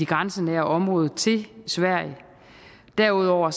grænsenære område til sverige derudover